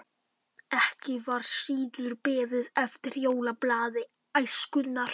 Ekki var síður beðið eftir jólablaði Æskunnar.